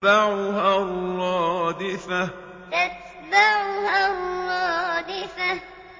تَتْبَعُهَا الرَّادِفَةُ تَتْبَعُهَا الرَّادِفَةُ